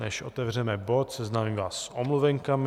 Než otevřeme bod, seznámím vás s omluvenkami.